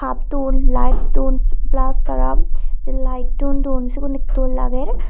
hup dun lights dun plus tara lighttun dun sigun dol lager.